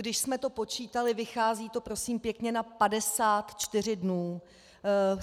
Když jsme to počítali, vychází to prosím pěkně na 54 dnů.